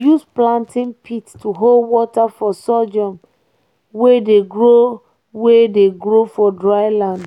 we dey use planting pit to hold water for sorghum wey dey grow wey dey grow for dry land.